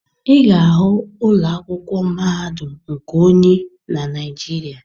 Ị ga-ahụ ụlọ akwụkwọ mahadum nke onye na Naịjirịa.